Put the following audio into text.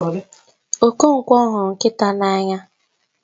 Okonkwo huru nkita n'anya